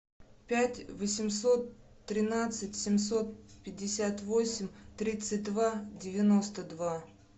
пять восемьсот тринадцать семьсот пятьдесят восемь тридцать два девяносто два